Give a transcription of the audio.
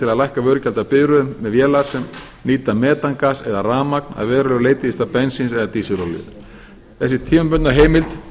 að lækka vörugjald af bifreiðum með vélar sem nýta metangas eða rafmagn að verulegu leyti í stað bensíns eða dísilolíu þessi tímabundna heimild